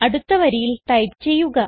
അടുത്ത വരിയിൽ ടൈപ്പ് ചെയ്യുക